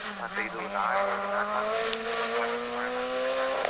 ಮತ್ತೆ ಇದು ನಾನ್ pharmacy, pharmacy ಮಾಡೋಣ ಅಂತ ಇದ್ದೇನೆ ನಾನು.